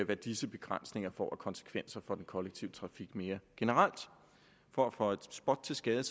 hvad disse begrænsninger får af konsekvenser for den kollektive trafik mere generelt for at føje spot til skade